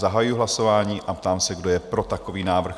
Zahajuji hlasování a ptám se, kdo je pro takový návrh?